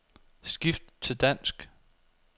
Skift til dansk.